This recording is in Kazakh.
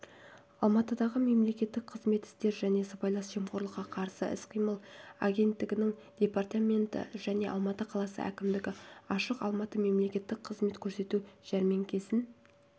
алматыдағы мемлекеттік қызмет істері және сыбайлас жемқорлыққа қарсы іс-қимыл агенттігінің департаменті және алматы қаласы әкімдігі ашық алматы мемлекеттік қызмет көрсету жәрмеңкесін